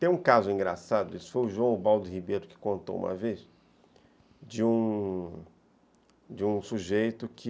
Tem um caso engraçado, isso foi o João Baldo Ribeiro que contou uma vez, de um de um sujeito que